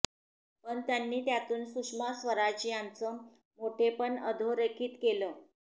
पण त्यांनी त्यातून सुषमा स्वराज यांचं मोठेपण अधोरेखित केलं